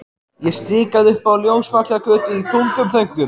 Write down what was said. Ég stikaði upp á Ljósvallagötu í þungum þönkum.